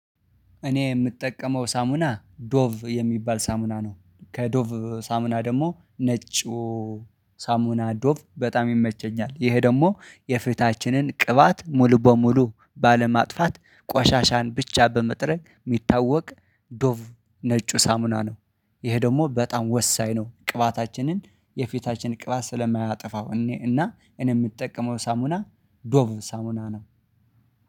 እኔ የምጠቀመው ሳሙና ዶቭ የሚባል ሳሙና ነው ከዶቭ ሳሙና ደግሞ ነጩ ሳሙና ዶቭ በጣም ይመቸኛል ይሄ ደግሞ የፊታችንን ቅባት ሙሉ በሙሉ ባለማጥፋት ቆሻሻን ብቻ በመጥረግ የሚታወቅ ዶቭ ነጩ ሳሙና ነው። ይሄ ደግሞ በጣም ወሳኝ ነው ቅባታችንን የፊታችን ቅባት ስለማያጠፋው እኔ እና እኔ የምጠቀመው ሳሙና ዶብ ሳሙና ነው